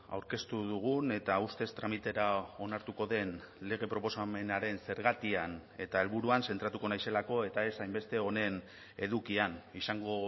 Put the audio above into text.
aurkeztu dugun eta ustez tramitera onartuko den lege proposamenaren zergatian eta helburuan zentratuko naizelako eta ez hainbeste honen edukian izango